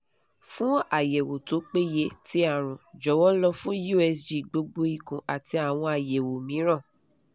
fun ayẹwo to peye ti arun jọwọ lọ fun usg gbogbo ikun ati awọn ayẹwo miiran